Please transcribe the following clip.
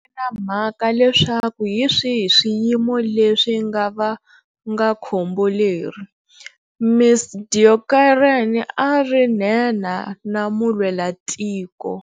Na mhaka leswaku hi swihi swiyimo leswi nga va nga khombo leri, Ms Deokaran a a ri nhenha na mulwelatiko.